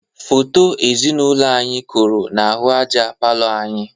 Foto ezinaụlọ anyị koro n'ahụ aja palọ anyị.